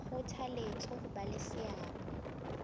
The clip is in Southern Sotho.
kgothaletsa ho ba le seabo